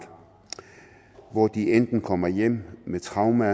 hvor de enten kommer hjem med traumer